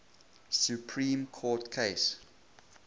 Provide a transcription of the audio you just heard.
supreme court case